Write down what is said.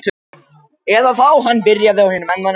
Eða þá hann byrjaði á hinum endanum.